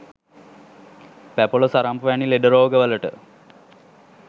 පැපොල සරම්ප වැනි ලෙඩ රෝගවලට